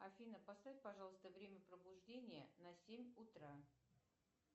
афина поставь пожалуйста время пробуждения на семь утра